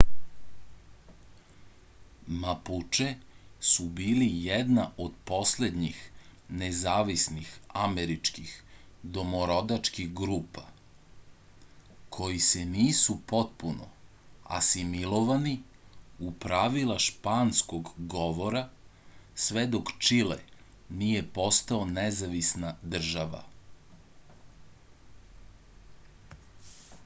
mapuče su bili jedna od poslednjih nezavisnih američkih domorodačkih grupa koji se nisu potpuno asimilovani u pravila španskog govora sve dok čile nije postao nezavisna država